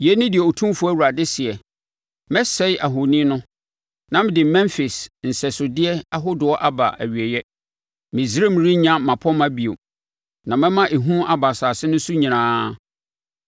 “ ‘Yei ne deɛ Otumfoɔ Awurade seɛ: “ ‘Mɛsɛe ahoni no na mede Memfis nsɛsodeɛ ahodoɔ aba awieeɛ. Misraim renya mmapɔmma bio, na mɛma ehu aba asase no so nyinaa.